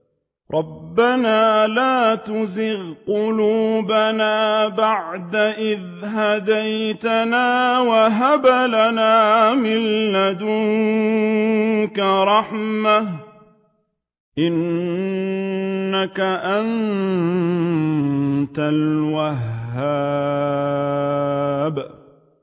رَبَّنَا لَا تُزِغْ قُلُوبَنَا بَعْدَ إِذْ هَدَيْتَنَا وَهَبْ لَنَا مِن لَّدُنكَ رَحْمَةً ۚ إِنَّكَ أَنتَ الْوَهَّابُ